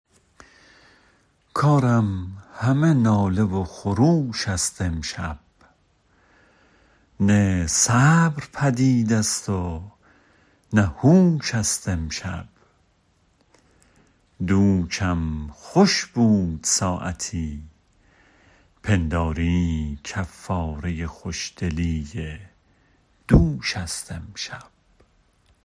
کارم همه ناله و خروش ست امشب نی صبر پدیدست و نه هو ش ست امشب دوشم خوش بود ساعتی پنداری کفاره خوش دلی دوش ست امشب